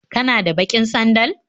Kana da baƙin sandal?